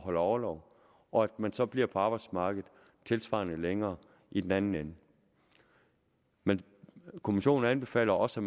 holde orlov og at man så bliver på arbejdsmarkedet tilsvarende længere i den anden ende men kommissionen anbefaler også